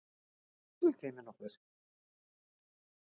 Mismælti ég mig nokkuð?